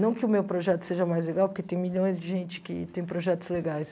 Não que o meu projeto seja mais legal, porque tem milhões de gente que tem projetos legais.